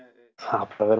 það